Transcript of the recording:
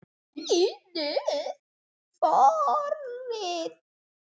Lítil forrit